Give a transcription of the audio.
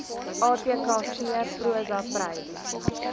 atkv prosa prys